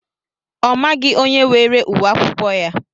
Ọ maghị onye weere ùwé akwụkwọ ya.